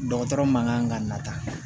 Dɔgɔtɔrɔ man kan ka nata